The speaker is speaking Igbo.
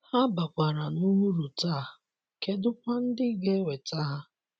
Ha bakwara nụ ụrụ taa, kedụ kwa ndị ga - enweta ha?